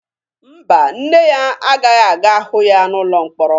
Mba, nne ya agaghị aga hụ ya n'ụlọ mkpọrọ.